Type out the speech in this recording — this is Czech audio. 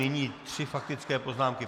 Nyní tři faktické poznámky.